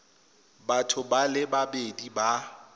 batho ba le babedi ba